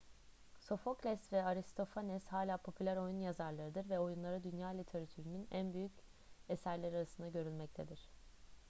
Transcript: sofokles ve aristofanes hala popüler oyun yazarlarıdır ve oyunları dünya literatürünün en büyük eserleri arasında görülmektedir